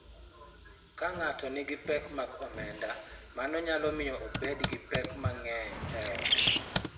Ka ng�ato nigi pek mag omenda, mano nyalo miyo obed gi pek mang�eny e ot,